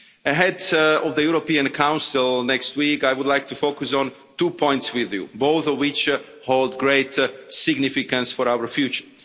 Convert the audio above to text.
Ahead of the European Council next week, I would like to focus on two points with you, both of which hold great significance for our future.